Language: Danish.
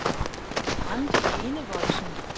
Randi Enevoldsen